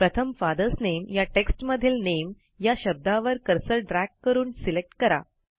प्रथम फादर्स नामे या टेक्स्ट मधील नामे या शब्दावर कर्सर ड्रॅग करून सिलेक्ट करा